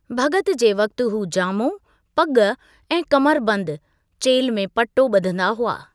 भॻत जे वक़्ति हू जामो, पॻ ऐं कमरबंदु (चेल्हि में पटो) ॿधंदा हुआ।